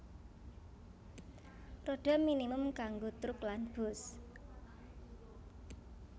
Rodha minimum kanggo truk lan bus